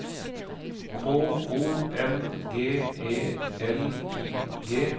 K O N G E L I G